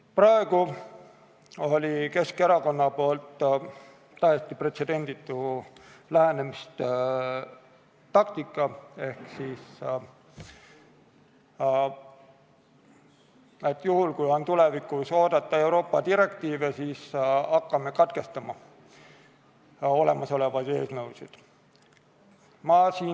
Praegu oli Keskerakonnal täiesti pretsedenditu lähenemistaktika ehk et juhul, kui on tulevikus oodata Euroopa direktiive, siis hakkame katkestama olemasolevate eelnõude lugemist.